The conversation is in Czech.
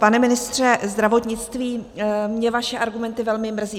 Pane ministře zdravotnictví, mě vaše argumenty velmi mrzí.